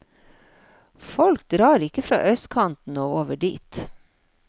Folk drar ikke fra østkanten og over dit.